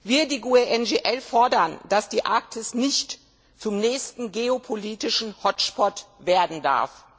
Wir, die GUE NGL, fordern, dass die Arktis nicht zum nächsten geopolitischen Hotspot werden darf.